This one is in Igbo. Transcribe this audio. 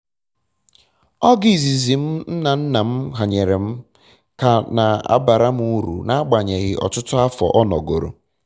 ọgụ izizi m nna nna m um hanyere m ka na abara m uru n'agbanyeghị ọtụtụ afọ ọ nọgoro